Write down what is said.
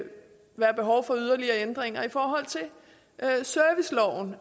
der skulle være behov for yderligere ændringer i forhold til serviceloven